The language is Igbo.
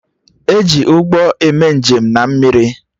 E ji Ụgbọ eme njem na mmiri